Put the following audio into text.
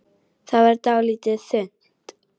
Það varð dálítið þunnt.